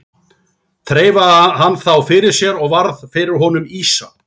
Þreifaði hann þá fyrir sér og varð fyrir honum ýsa.